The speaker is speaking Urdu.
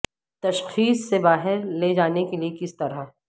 تشخیص سے باہر لے جانے کے لئے کس طرح